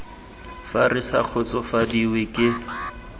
fa re sa kgotsofadiwe ke